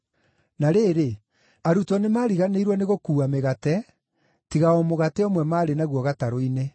Na rĩrĩ, arutwo nĩmariganĩirwo nĩ gũkuua mĩgate, tiga o mũgate ũmwe marĩ naguo gatarũ-inĩ.